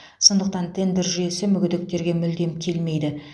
сондықтан тендер жүйесі мүгедектерге мүлдем келмейді